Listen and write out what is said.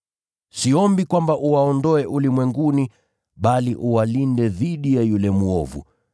Siombi kwamba uwaondoe ulimwenguni, bali uwalinde dhidi ya yule mwovu.